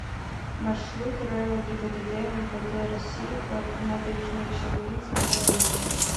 маршрут рэо гибдд мвд россии по набережночелнинскому району